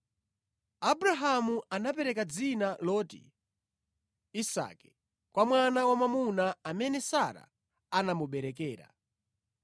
Abrahamu anapereka dzina loti Isake kwa mwana wamwamuna amene Sara anamuberekera.